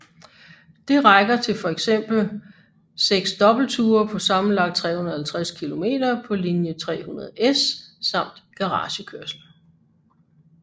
Det rækker til for eksempel til seks dobbeltture på sammenlagt 350 km på linje 300S samt garagekørsel